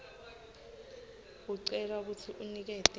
ucelwa kutsi unikete